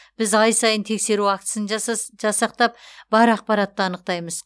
біз ай сайын тексеру актісін жасақтап бар ақпаратты анықтаймыз